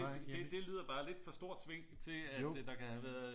Det lyder bare lidt for stort sving til at der kan have været